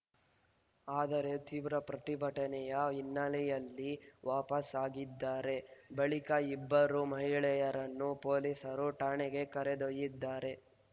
ಆದರೆ ತೀವ್ರ ಪ್ರತಿಭಟನೆಯ ಹಿನ್ನೆಲೆಯಲ್ಲಿ ವಾಪಸ್‌ ಆಗಿದ್ದಾರೆ ಬಳಿಕ ಇಬ್ಬರು ಮಹಿಳೆಯರನ್ನು ಪೊಲೀಸರು ಠಾಣೆಗೆ ಕರೆದೊಯ್ದಿದ್ದಾರೆ